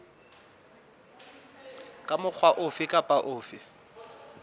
ka mokgwa ofe kapa ofe